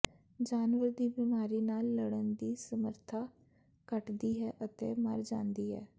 ਜਾਨਵਰ ਦੀ ਬਿਮਾਰੀ ਨਾਲ ਲੜਨ ਦੀ ਸਮਰੱਥਾ ਘੱਟਦੀ ਹੈ ਅਤੇ ਮਰ ਜਾਂਦੀ ਹੈ